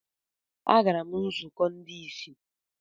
Agara m nzukọ ndị ìsì.